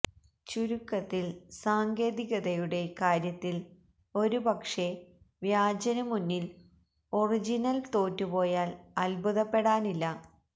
ചുരുക്കത്തിൽ സാങ്കേതികതയുടെ കാര്യത്തിൽ ഒരുപക്ഷേ വ്യാജനു മുന്നിൽ ഒറിജിനൽ തോറ്റുപോയാൽ അദ്ഭുതപ്പെടാനില്ല